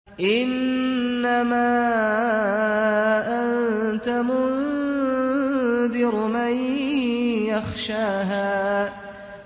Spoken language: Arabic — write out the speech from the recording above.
إِنَّمَا أَنتَ مُنذِرُ مَن يَخْشَاهَا